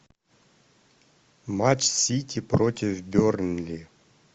матч сити против бернли